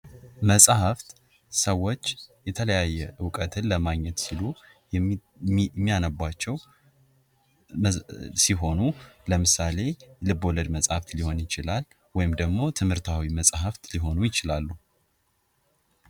መጽሐፍት ሰዎች የተለያየ ዕውቀትን ለማግኘት ሲሉ የሚያነቡዋቸው ሲሆኑ ለምሳሌ ልብ ወለድ መጽሐፍ ሊሆን ይችላል። ደግሞ ትምህርታዊ መጽሐፎች ሊሆኑ ይችላሉ።